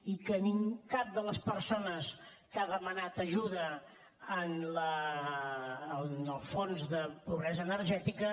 i que a cap de les persones que ha demanat ajuda en el fons de pobresa energètica